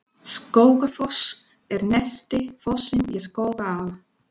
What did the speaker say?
Skógafoss er neðsti fossinn í Skógaá.